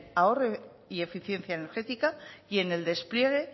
ahorro y eficiencia energética y en el despliegue